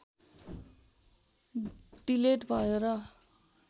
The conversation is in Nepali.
डिलेट भयो र